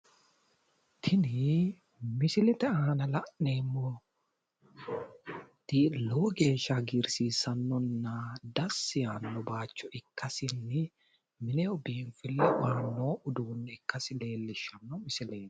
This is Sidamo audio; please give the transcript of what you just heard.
Tini misilete aana la'neemmoti lowo geeshsha hagiirsiissannonna dassi yaanno bayicho ikkasinni mineho biinfille aanno uduunne ikkasi leellishshanno misileeti.